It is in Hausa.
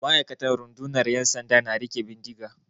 Ma'aikatan rundunar 'yan sanda na riƙe bindiga.